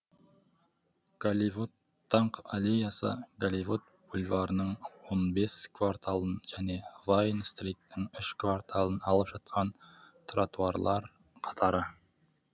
голливуд даңқ аллеясы голливуд бульварінің он бес кварталын және вайн стриттің үш кварталын алып жатқан тротуарлар қатары